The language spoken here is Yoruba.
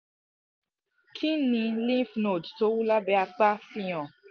kí ni lymph node tó wú lábẹ́ apá fi hàn?